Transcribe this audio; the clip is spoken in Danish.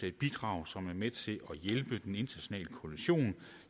et bidrag som er med til at hjælpe den internationale koalition